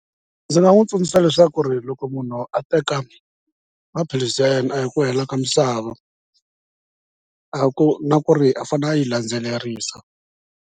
Ndzi nga n'wi tsundzuxa leswaku ri loko munhu a teka maphilisi ya yena a hi ku hela ka misava a ku na ku ri a fanele a yi landzelerisa.